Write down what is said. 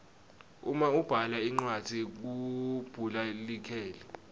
uma ubhala incwadzi kumbhula likheli